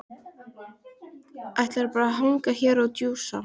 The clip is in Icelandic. Ætlarðu bara að hanga hér og djúsa?